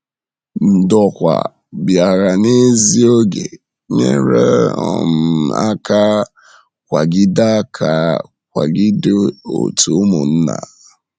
Ndòkwà bịara n’ézí oge, nyere um aka kwàgide aka kwàgide òtù Ụmụ̀nnà.